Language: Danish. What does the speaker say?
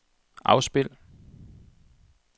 afspil